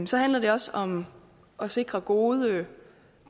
så handler det også om at sikre gode